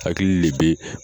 Hakili le bɛ